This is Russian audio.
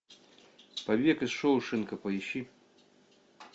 побег из шоушенка поищи